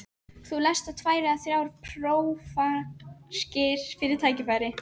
Þú lest þá tvær eða þrjár prófarkir við tækifæri.